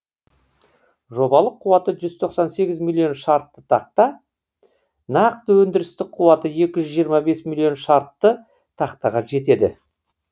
жобалық қуаты жүз тоқсан сегіз миллион шартты тақта нақты өндірістік қуаты миллион шартты тақтаға жетеді